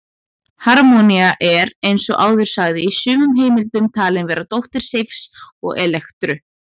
Harmonía er, eins og áður sagði, í sumum heimildum talin vera dóttir Seifs og Elektru.